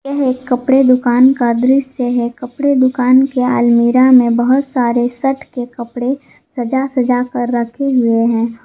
यह एक कपड़े दुकान का दृश्य है कपड़े दुकान के अलमीरा में बहुत सारे शर्ट के कपड़े सजा सजा कर रखे हुए हैं।